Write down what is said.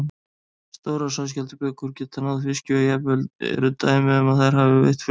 Stórar sæskjaldbökur geta náð fiski og jafnvel eru dæmi um að þær hafi veitt fugla.